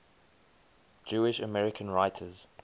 jewish american writers